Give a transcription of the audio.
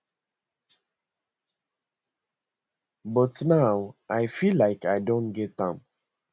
but now i feel like i don get am